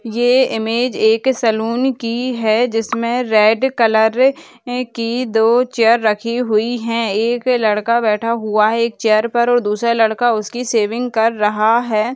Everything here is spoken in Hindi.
ये इमेज एक सलून की है जिसमें रेड कलर की दो चेयर रखी हुई हैं एक लड़का बैठा हुआ है एक चेयर पर और दूसरा लड़का उसकी शेविंग कर रहा है।